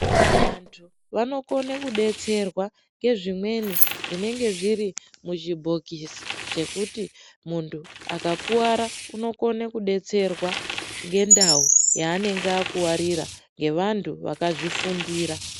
Vantu vanokone kubetserwa ngezvimweni zvinenge zviri muzvibhokisi. Chekuti muntu akakuvara anokone kubetserwa ngendau yaanenge akuvarira ngevantu vakazvifundira.